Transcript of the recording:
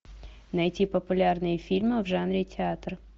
найти популярные фильмы в жанре театр